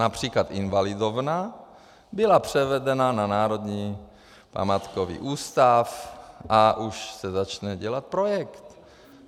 Například Invalidovna byla převedena na Národní památkový ústav a už se začne dělat projekt.